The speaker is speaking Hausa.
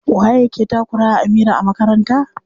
Waye yake takura wa Amira a makaranta?